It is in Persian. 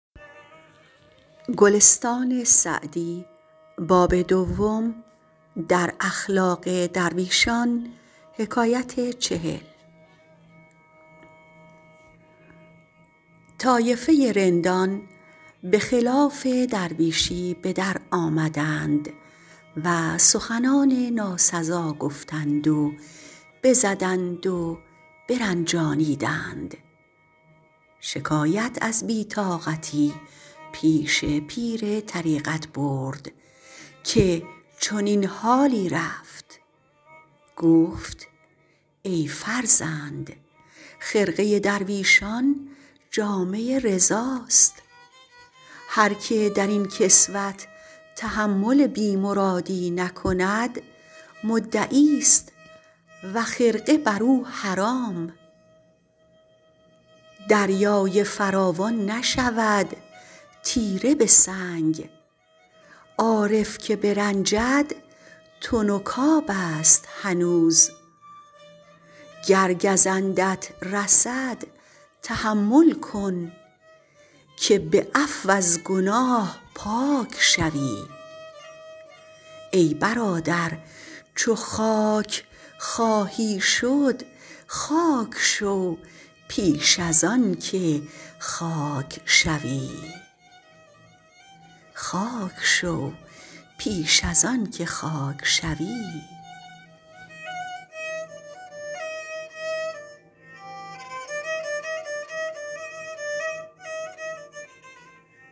طایفه رندان به خلاف درویشی به در آمدند و سخنان ناسزا گفتند و بزدند و برنجانیدند شکایت از بی طاقتی پیش پیر طریقت برد که چنین حالی رفت گفت ای فرزند خرقه درویشان جامه رضاست هر که در این کسوت تحمل بی مرادی نکند مدعی است و خرقه بر او حرام دریای فراوان نشود تیره به سنگ عارف که برنجد تنک آب است هنوز گر گزندت رسد تحمل کن که به عفو از گناه پاک شوی ای برادر چو خاک خواهی شد خاک شو پیش از آن که خاک شوی